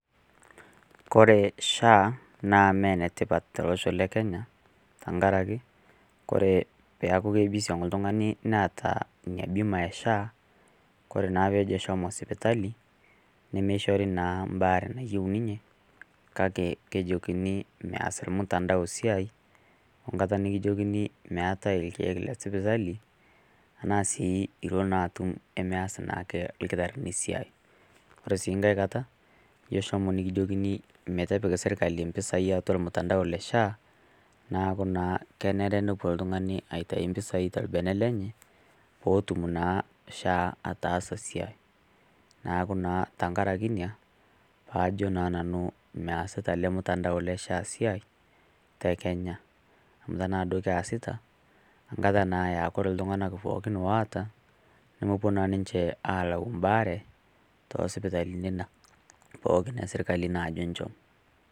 Kore SHA naa mee ne tipat to losho le Kenya tankaraki kore paaku keibisiong' ltung'ani neata nia bima e SHA kore naa peejo shomo sipitali nemeishori naa mbaare nayieu ninye kake kejokini meas lmutandao siai o nkata nikijokini meatae lkeek te sipitali tanaa sii ilo naa atum emeas naake lkitarrini siai. Kore sii nkae kata ijo shomo nikijokini eitu epik sirkali mpisai atua lmutandao le SHA naaku naa kenare nelo ltung'ani aitai mpisai to lbene lenye pootum naa SHA ataasa siai. Naaku naa tankaraki nia paajo nanu measita ale mutandao le SHA siai te Kenya amu tanaa duo keasita ankata naa ea kore ltung'ana pooki oata nemopuo naa ninche aalau mbaare too sipitalini pookin e sirkali naajo enchom.